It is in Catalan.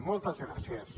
moltes gràcies